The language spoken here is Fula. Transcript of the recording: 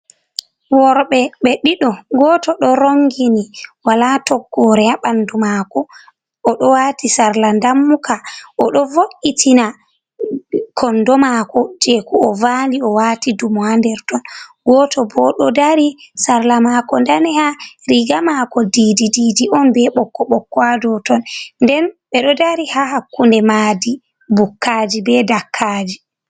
Worɓe ɓe ɗiɗo, gooto ɗo ronngini walaa toggoore haa ɓanndu maako. O ɗo waati sarla dammuka, o ɗo vo’’itina konndo maako jey ko o vaali, o waati dumo haa nderton. Gooto bo ɗo dari, sarla maako daneha, riiga maako diidi diidi on, be ɓokko ɓokka haa dow ton. Nden ɓe ɗo dari, haa hakkunde maadi bukkaaji be dakkaaji.